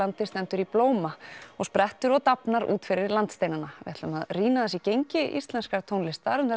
stendur í blóma og sprettur og dafnar út fyrir landsteinana við ætlum að rýna í gengi íslenskra tónlistarmanna